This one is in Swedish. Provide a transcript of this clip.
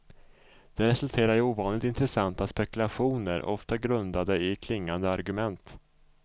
Det resulterar i ovanligt intressanta spekulationer, ofta grundade i klingande argument.